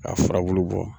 K'a furabulu bɔ